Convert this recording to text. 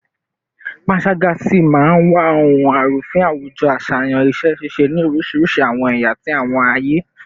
Panṣaga si maa wa ohun arufin awujo aṣayan iṣẹ-ṣiṣe ni orisirisi awọn ẹya ti awọn aye